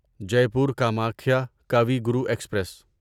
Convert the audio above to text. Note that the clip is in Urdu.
جیپور کامکھیا کاوی گرو ایکسپریس